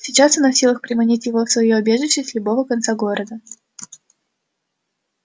сейчас она в силах приманить его в своё убежище с любого конца города